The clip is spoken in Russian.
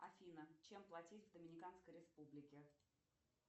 афина чем платить в доминиканской республике